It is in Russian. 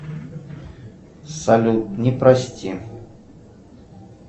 салют не прости